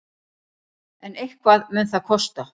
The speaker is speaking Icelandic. En eitthvað mun það kosta.